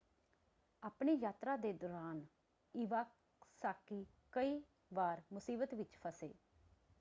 ਆਪਣੀ ਯਾਤਰਾ ਦੇ ਦੌਰਾਨ ਈਵਾਸਾਕੀ ਕਈ ਵਾਰ ਮੁਸੀਬਤ ਵਿੱਚ ਫਸੇ।